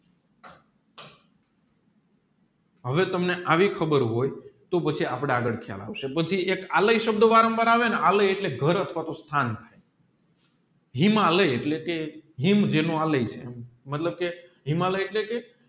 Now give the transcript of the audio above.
હવે તમે આવી ખબર હોય તોહ પછી આપણે આગળ ખયાલ આવે પછી એક આલય સબધ વરણ વાર આવે આલય એટલે કે હાર અથવા હિમાલયા એટલે કે હિમ જેનો આલય મતલબ કે હિમાલયા એટલે કે